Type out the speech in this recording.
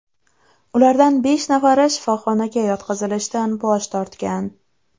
Ulardan besh nafari shifoxonaga yotqizilishdan bosh tortgan.